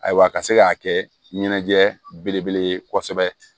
Ayiwa a ka se k'a kɛ ɲɛnajɛ belebele ye kosɛbɛ